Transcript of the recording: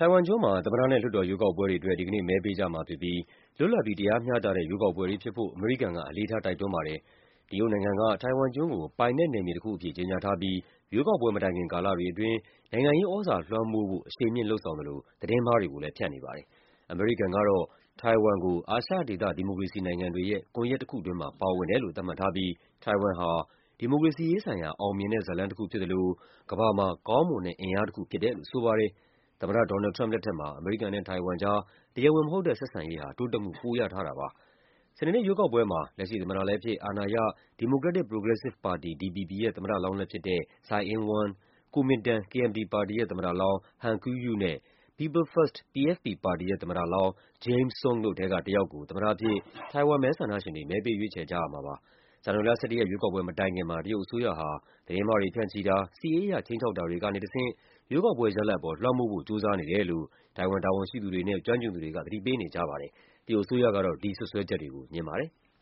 ိုင်ဝမ်ကျွန်းမှာ သမ္မတနဲ့ လွှတ်တော်ရွေးကောက်ပွဲတွေအတွက် ဒီကနေ့ စနေနေ့ မဲပေးကြမှာဖြစ်ပြီး လွတ်လပ်ပြီး တရားမျှတ တဲ့ ရွေးကောက်ပွဲတွေဖြစ်ဖို့ အမေရိကန်က အလေးထား တိုက်တွန်းပါတယ်။ တရုတ်နိုင်ငံက တိုင်ဝမ်ကျွန်းကို ပိုင်နက်နက်မြေတခုအဖြစ် ကြေညာထားပြီး ရွေးကောက်ပွဲမတိုင်ခင် ကာလတွေအတွင်း နိုင်ငံရေးသြဇာလွှမ်းမိုးဖို့ အရှိန်မြှင့်လုပ်ဆောင်သလို သတင်းမှားတွေကိုလည်း ဖြန့်နေပါတယ်။ အမေရိကန်ကတော့ တိုင်ဝမ်ကို အာရှဒေသ ဒီမိုကရေစီနိုင်တွေရဲ့ ကွန်ယက်တခုတွင်းမှာ ပါဝင်တယ်လို့ သတ်မှတ်ထားပြီး တိုင်ဝမ်ဟာ “ဒီမိုကရေစီရေးဆိုင်ရာ အောင်မြင်တဲ့ဇာတ်လမ်းတခုဖြစ်သလို ကမ္ဘာမှာ ကောင်းမွန်တဲ့အင်အားတခု” ဖြစ်တယ်လို့ ဆိုပါတယ်။ သမ္မတ ဒေါ်နယ်လ်ဒ် ထရမ့်ပ် လက်ထက်မှာ အမေရိကန်နဲ့တိုင်ဝမ်ကြား တရားဝင်မဟုတ်တဲ့ ဆက်ဆံရေးဟာ တိုးတက်မှု ပိုရထားတာပါ။ စနေနေ့ရွေးကောက်ပွဲမှာ လက်ရှိသမ္မတလည်းဖြစ်၊ အာဏာရ Democratic Progressive Party (DPP) ရဲ့ သမ္မတလောင်းလည်း ဖြစ်သူ Tsai Ing-wen ၊ Kuomingtan (KMT) ပါတီရဲ့ သမ္မတလောင်း Han Kuo-yu နဲ့ People First (PFP) ပါတီရဲ့ သမ္မတ လောင်း James Soong တို့ထဲကတယောက်ကို သမ္မတအဖြစ် တိုင်ဝမ်မဲဆန္ဒရှင်တွေ မဲပေးရွေးချယ်ကြရမှာပါ။ ဇန်နဝါရီလ ၁၁ ရက် ရွေးကောက်ပွဲမတိုင်ခင်မှာ တရုတ်အစိုးရဟာ သတင်းမှားတွေ ဖြန့်ချိတာ၊ စစ်ရေးအရ ခြိမ်းခြောက်တာတွေ ကနေတဆင့် ရွေးကောက်ပွဲရလဒ်ပေါ် လွှမ်းမိုးဖို့ ကြိုးစားနေတယ်လို့ တိုင်ဝမ်တာဝန်ရှိသူတွေနဲ့ ကျွမ်းကျင်သူတွေက သတိပေး နေကြပါတယ်။ တရုတ်အစိုးရကတော့ ဒီစွပ်စွဲချက်တွေကို ငြင်းပါတယ်။